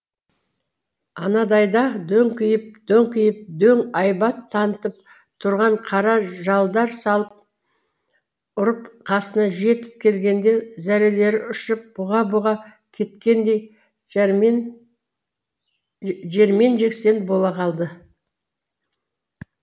анадайда дөңкиіп дөңкиіп дөң айбат танытып тұрған қара жалдар салып ұрып қасына жетіп келгенде зәрелері ұшып бұға бұға кеткендей жермен жексен бола қалады